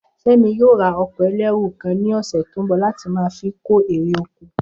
Fé̩mi yóò ra o̩kò̩ e̩lérù kan ní ò̩sè̩ tó ń bò̩ láti máa fi kó èrè oko